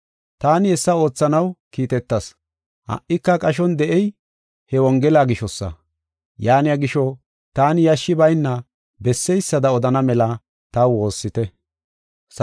Taani hessa oothanaw kiitetas ha77ika qashon de7ey he Wongela gishosa. Yaaniya gisho, taani yashshi bayna besseysada odana mela taw woossite.